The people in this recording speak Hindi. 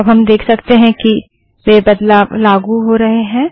अब हम देख सकते हैं कि वे बदलाव लागू हो रहे हैं